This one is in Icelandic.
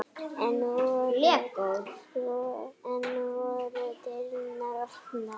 Enn voru dyrnar opnar.